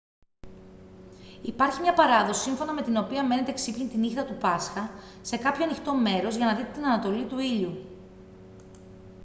υπάρχει μια παράδοση σύμφωνα με την οποία μένετε ξύπνιοι τη νύχτα του πάσχα σε κάποιο ανοιχτό μέρος για να δείτε την ανατολή του ήλιου